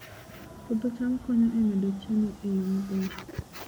Puodho cham konyo e medo chiemo e yo maber